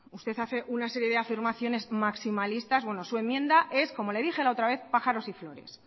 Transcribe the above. usted hace una serie de afirmaciones maximalistas su enmienda es como le dije la otra vez pájaros y flores